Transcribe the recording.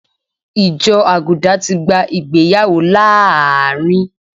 Ìjọ Àgùdà ti gba ìgbéyàwó láàárín